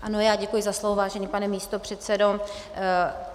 Ano, já děkuji za slovo, vážený pane místopředsedo.